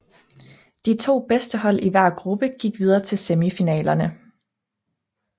De to bedste hold i hver gruppe gik videre til semifinalerne